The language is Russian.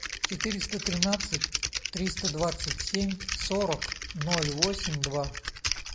четыреста тринадцать триста двадцать семь сорок ноль восемь два